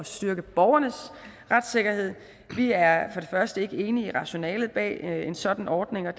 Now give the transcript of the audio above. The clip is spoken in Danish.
styrke borgernes retssikkerhed vi er for første ikke enige i rationalet bag en sådan ordning og